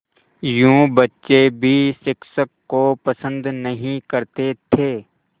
यूँ बच्चे भी शिक्षक को पसंद नहीं करते थे